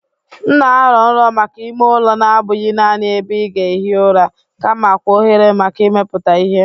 M na-arọ nrọ maka ime ụlọ na-abụghị naanị ebe ị ga-ehi ụra kamakwa ohere maka imepụta ihe.